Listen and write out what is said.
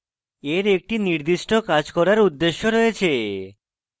এর একটি নির্দিষ্ট কাজ করার উদ্দেশ্যে রয়েছে